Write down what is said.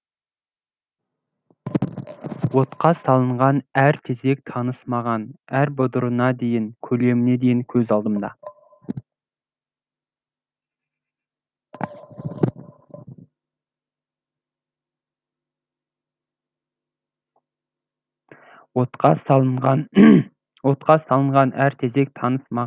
отқа салынған әр тезек таныс маған әр бұдырына дейін көлеміне дейін көз алдымда